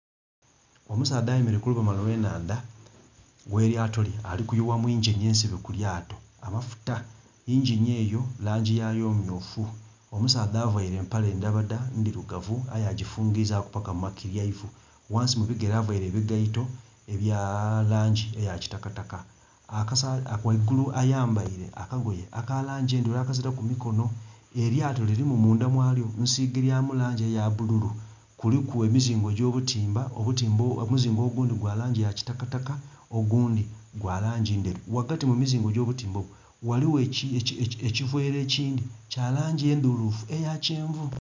Omusaadha ayemeleire ku lubalama olw'enhandha ghelyato lye, ali kuyuwa mu yingini ensibe ku lyato amafuta. Yingini eyo langi yayo myufu. Omusaadha availe empale ndabada ndirugavu aye agifungizaaku paka mu makiryaivu. Ghansi mu bigere availe ebigaito ebya langi eya kitakataka. Ghaigulu ayambaile akagoye aka langi endheru akazilaku mikono. Elyato lirimu munda mwalyo nsige lyamu langi eya bululu. Kuliku emizingo gy'obutimba, omuzingo ogundhi gwa langi ya kitakataka, ogundhi gwa langi ndheru. Ghagati mu mizingo gy'obutimba obwo ghaligho ekiveera ekindhi kya langi endhulufu eya kyenvu.